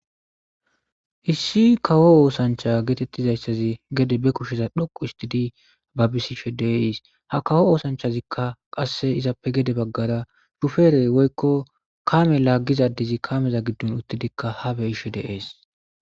Issi kawo oosancha geetettizayssazi gede be kusheza dhoqu istidi babbisishe deis ha kawo oosanchazikka qasse izappe gede baggara shuferey woykko kame laaggizadizi kameza giddun uttidikka habe ishe deees